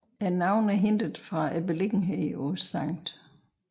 Navnet er hentet fra beliggenheden på Skt